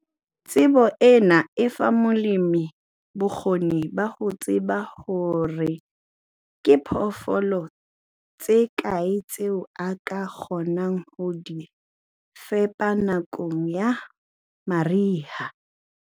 Tsebo ena e fa molemi bokgoni ba ho tseba hore ke diphoofolo tse kae tseo a ka kgonang ho di fepa nakong ya mariha.